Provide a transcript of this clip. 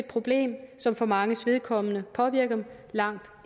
problem som for manges vedkommende påvirker dem langt